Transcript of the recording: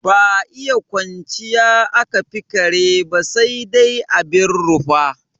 Ba iya kwanciya aka fi kare ba sai dai abin rufa.